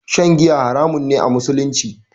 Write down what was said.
Shan giya haramun ne a musulunci